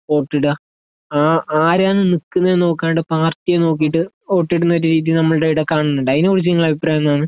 വോട്ടിട ആരാണ് നിക്കുന്നേ എന്ന് നോക്കാണ്ട് പാർട്ടിയെ നോക്കിയിട്ട് വോട്ടിടുന്ന രീതി നമ്മുടെ ഇവിടെ കാണുന്നുണ്ട് അതിനെ കുറിച്ച് നിങ്ങളുടെ അഭിപ്രായം എന്താണ്